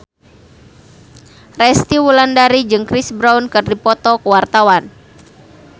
Resty Wulandari jeung Chris Brown keur dipoto ku wartawan